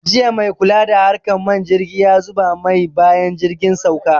Jiya maikula da harkan man jirgi yazuba mai bayan jirgin sauka